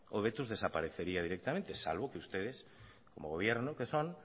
hobetuz desaparecería directamente salvo que ustedes como gobierno que son